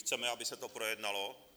Chceme, aby se to projednalo.